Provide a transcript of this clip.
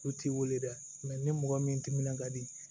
U t'i weele dɛ ni mɔgɔ min timinan ka di